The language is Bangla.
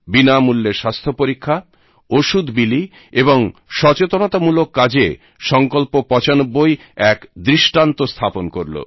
বিনামূল্যে স্বাস্থ্য পরীক্ষা ওষুধ বিলি ও সচেতনতামূলক কাজে সঙ্কল্প৯৫ এক দৃষ্টান্ত স্থাপন করলো